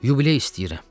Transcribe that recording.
Yubiley istəyirəm.